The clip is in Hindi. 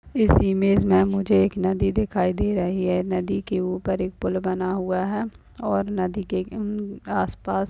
इस इमेज में मुझे एक नदी दिखाई दे रही है नदी के उपर एक पुल बना हुआ है और नदी के म-म आसपास--